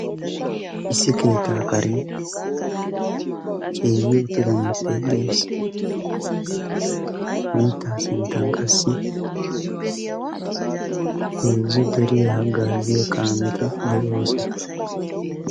issi keettaa karee ceege uttida mittayi de7es hamittaa sinttan qassi eezzu deriyaa haggaaziyo kaameti de7oosona